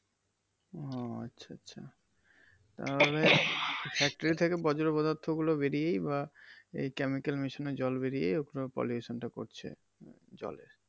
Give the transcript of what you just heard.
ও আচ্ছা আচ্ছা। তাহলে factory থেকে বর্জ্য পদার্থ গুলো বেড়িয়েই বা এই কেমিক্যাল মেশানো জল বেড়িয়েই ওখানে pollution টা ঘটছে জলে।